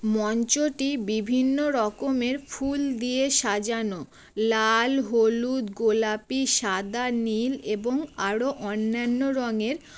মঞ্চটি বিভিন্ন রকমের ফুল দিয়ে সাজানো। লাল হলুদ গোলাপি সাদা নীল এবং আরও অন্যান্য রঙের --